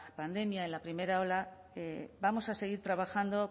pandemia en la primera ola vamos a seguir trabajando